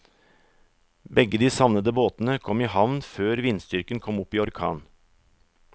Begge de savnede båtene kom i havn før vindstyrken kom opp i orkan.